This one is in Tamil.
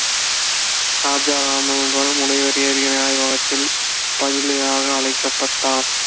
ராஜா ராமண்ணாவால் ஆய்வகத்தில் பதிலியாக அழைக்கப்பட்டார்